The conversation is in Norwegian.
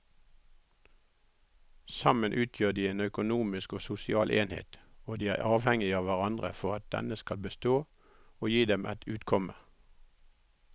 Sammen utgjør de en økonomisk og sosial enhet og de er avhengige av hverandre for at den skal bestå og gi dem et utkomme.